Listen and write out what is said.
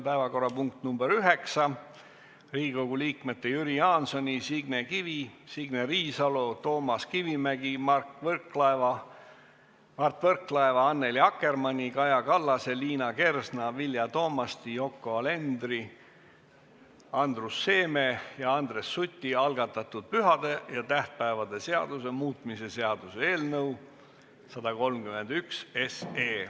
Päevakorrapunkt nr 9, Riigikogu liikmete Jüri Jaansoni, Signe Kivi, Signe Riisalo, Toomas Kivimägi, Mart Võrklaeva, Annely Akkermanni, Kaja Kallase, Liina Kersna, Vilja Toomasti, Yoko Alendri, Andrus Seeme ja Andres Suti algatatud pühade ja tähtpäevade seaduse muutmise seaduse eelnõu 131.